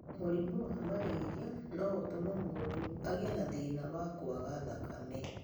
Mũrimũ wa malaria no ũtũme mũndũ agĩe na thĩna wa kwaga thakame.